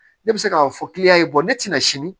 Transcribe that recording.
Ne bɛ se k'a fɔ ne tɛna sini